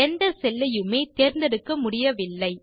எந்த செல் ஐயுமே தேர்ந்தெடுக்க முடியவில்லை